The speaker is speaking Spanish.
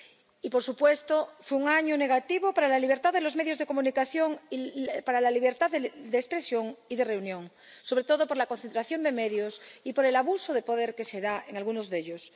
Y, por supuesto, fue un año negativo para la libertad de los medios de comunicación y para la libertad de expresión y de reunión, sobre todo por la concentración de medios y por el abuso de poder que se da en algunos de ellos.